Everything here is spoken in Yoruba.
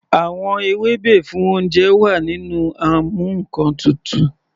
Àwọn ewébẹ̀ fún oúnjẹ náà wà nínú amú ǹkan tutù.